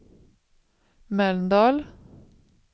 Mölndal